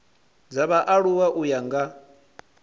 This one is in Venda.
dza vhaaluwa u ya nga